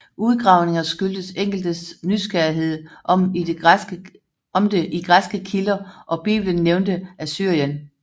Udgravningerne skyldtes enkeltes nysgerrighed om det i græske kilder og Biblen nævnte Assyrien